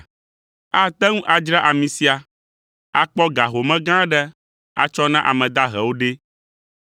Ate ŋu adzra ami sia, akpɔ ga home gã aɖe atsɔ na ame dahewo ɖe!”